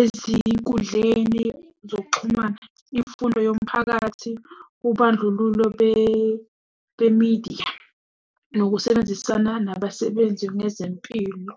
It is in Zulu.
ezinkundleni zokuxhumana, imfundo yomphakathi, ubandlululo bemidiya, nokusebenzisana nabasebenzi bezempilo.